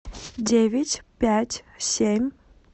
девять пять семь